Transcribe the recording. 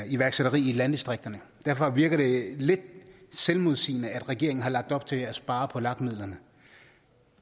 iværksætteri i landdistrikterne og derfor virker det lidt selvmodsigende at regeringen har lagt op til at spare på lag midlerne